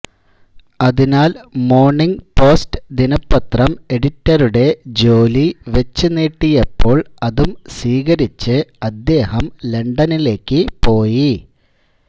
അതിനാൽ മോണിങ്ങ് പോസ്റ്റ് ദിനപത്രം എഡിറ്ററുടെ ജോലി വച്ചുനീട്ടിയപ്പോൾ അതു സ്വീകരിച്ച് അദ്ദേഹം ലണ്ടണിലേക്കു പോയി